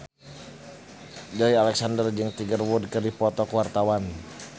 Joey Alexander jeung Tiger Wood keur dipoto ku wartawan